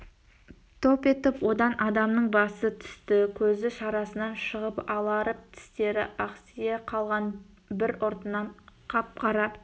топ етіп одан адамның басы түсті көзі шарасынан шыға аларып тістері ақсия қалған бір ұртынан қап-қара